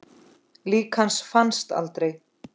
Lík hans fannst aldrei.